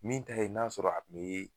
Min ta ye n'a sɔrɔ a tun bi.